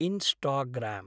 Instagram.